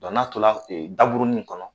n'a tora daburunin in kɔnɔ